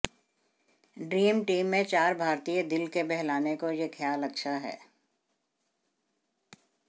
dream team में चार भारतीय दिल के बहलाने को ये ख्याल अच्छा है